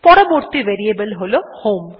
পরবর্তী ভেরিয়েবল হল হোম